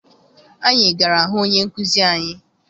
Anyị gara hụ onye nkụzi anyị.